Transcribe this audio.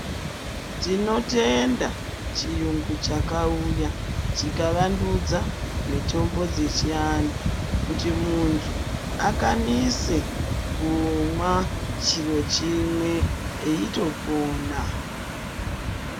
Tinotenda chiyungu chakauya chikavandudza mitombo dzechiantu kuti muntu akwanise kumwa chiro chimwe eitopona